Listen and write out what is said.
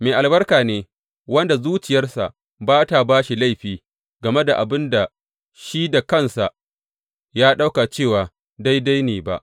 Mai albarka ne wanda zuciyarsa ba tă ba shi laifi game da abin da shi da kansa ya ɗauka cewa daidai ne ba.